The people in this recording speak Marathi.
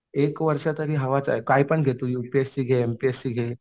एक वर्ष तरी हवाच आहे कायपण घे तू यूपीएससी घे एमपीएससी घे.